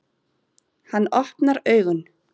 Hann opnar augun.